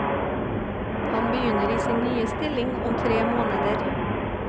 Han begynner i sin nye stilling om tre måneder.